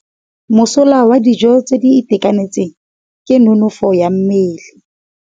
Mosola wa dijô tse di itekanetseng ke nonôfô ya mmele.